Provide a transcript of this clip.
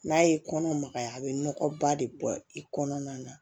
N'a ye kɔnɔ magaya a bɛ nɔgɔba de bɔ i kɔnɔna na